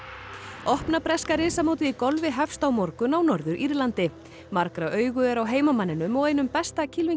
opna breska í golfi hefst á morgun á Norður Írlandi margra augu eru á heimamanninum og einum besta